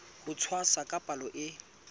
ho tshwasa ka palo e